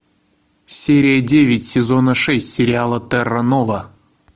серия девять сезона шесть сериала терра нова